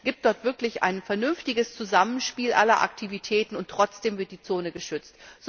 Es gibt dort wirklich ein vernünftiges Zusammenspiel aller Aktivitäten, und trotzdem wird die Zone geschützt.